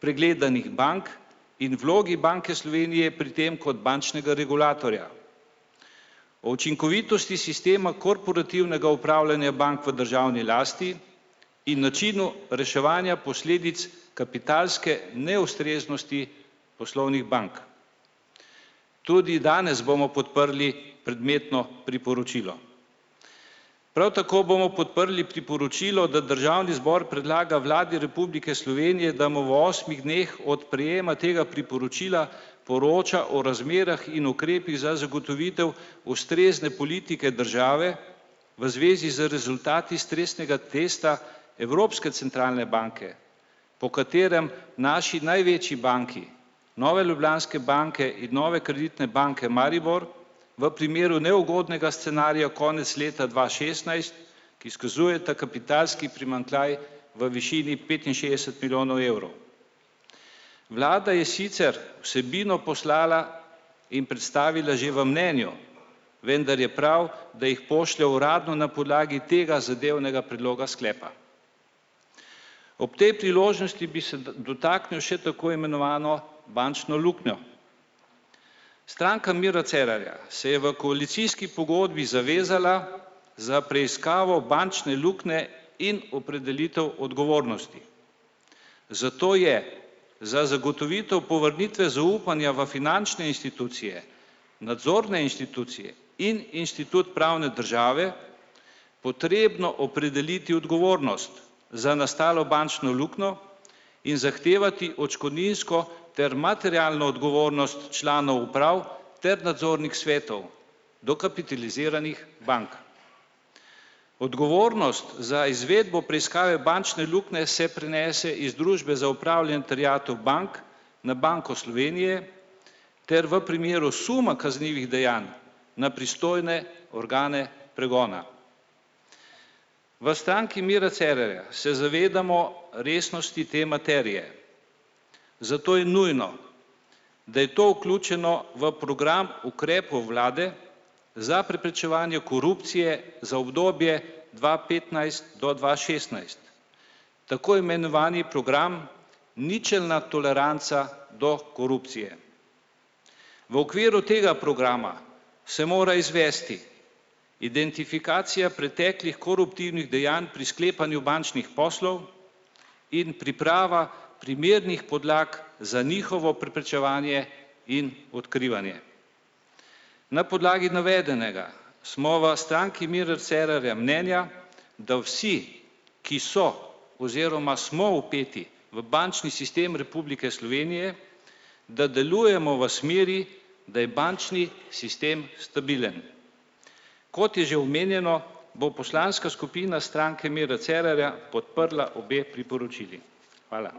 pregledanih bank in vlogi Banke Slovenije pri tem kot bančnega regulatorja. O učinkovitosti sistema korporativnega upravljanja bank v državni lasti in načinu reševanja posledic kapitalske neustreznosti poslovnih bank. Tudi danes bomo podprli predmetno priporočilo. Prav tako bomo podprli priporočilo, da državni zbor predlaga Vladi Republike Slovenije, da mu v osmih dneh od prejema tega priporočila poroča o razmerah in ukrepih za zagotovitev ustrezne politike države v zvezi z rezultati stresnega testa Evropske centralne banke, po katerem naši največji banki, Nova Ljubljanska banka in Nova Kreditna banka Maribor, v primeru neugodnega scenarija konec leta dva šestnajst, ki izkazujeta kapitalski primanjkljaj v višini petinšestdeset milijonov evrov. Vlada je sicer vsebino poslala in predstavila že v mnenju, vendar je prav, da jih pošlje uradno na podlagi tega zadevnega predloga sklepa. Ob tej priložnosti bi se dotaknil še tako imenovano bančno luknjo. Stranka Mira Cerarja se je v koalicijski pogodbi zavezala za preiskavo bančne luknje in opredelitev odgovornosti. Zato je za zagotovitev povrnitve zaupanja v finančne institucije, nadzorne inštitucije in inštitut pravne države potrebno opredeliti odgovornost za nastalo bančno luknjo in zahtevati odškodninsko ter materialno odgovornost članov uprav ter nadzornih svetov dokapitaliziranih bank. Odgovornost za izvedbo preiskave bančne luknje se prenese iz Družbe za upravljanje terjatev bank na Banko Slovenije, ker v primeru suma kaznivih dejanj na pristojne organe pregona. V Stranki Mira Cerarja se zavedamo resnosti te materije. Zato je nujno, da je to vključeno v program ukrepov vlade za preprečevanje korupcije za obdobje dva petnajst do dva šestnajst. Tako imenovani program ničelna toleranca do korupcije. V okviru tega programa se mora izvesti identifikacija preteklih koruptivnih dejanj pri sklepanju bančnih poslov in priprava primernih podlag za njihovo preprečevanje in odkrivanje. Na podlagi navedenega smo v Stranki Mira Cerarja mnenja, da vsi, ki so oziroma smo vpeti v bančni sistem Republike Slovenije, da delujemo v smeri, da je bančni sistem stabilen. Kot je že omenjeno, bo poslanska skupina Stranke Mira Cerarja podprla obe priporočili. Hvala.